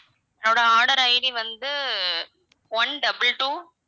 என்னோட order ID வந்து one double two